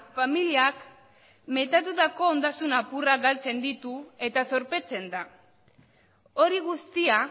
familiak metatutako ondasun apurrak galtzen ditu eta zorpetzen da hori guztia